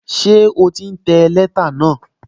Ṣé o ti ń tẹ lẹ́tà náà?